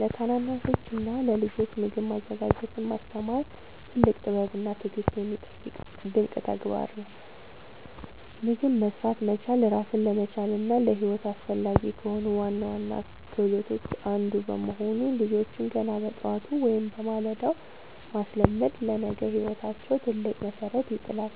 ለታናናሾችና ለልጆች ምግብ ማዘጋጀትን ማስተማር ትልቅ ጥበብና ትዕግሥት የሚጠይቅ ድንቅ ተግባር ነው። ምግብ መሥራት መቻል ራስን ለመቻልና ለሕይወት አስፈላጊ ከሆኑ ዋና ዋና ክህሎቶች አንዱ በመሆኑ፣ ልጆችን ገና በጠዋቱ (በማለዳው) ማስለመድ ለነገ ሕይወታቸው ትልቅ መሠረት ይጥላል።